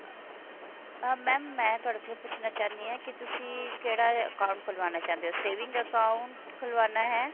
ਅਹ mam ਮੈਂ ਤੁਹਾਡੇ ਕੋਲੋਂ ਪੁੱਛਣਾ ਚਾਹੁੰਦੀ ਹਾਂ ਕਿ ਤੁਸੀਂ ਕਿਹੜਾ account ਖੁਲਵਾਉਣਾ ਚਾਹੁੰਦੇ ਹੋ saving account ਖੁਲਵਾਉਣਾ ਹੈ